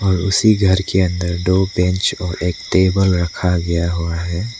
और उसी घर के अंदर दो बेंच और एक टेबल रखा गया हुआ है।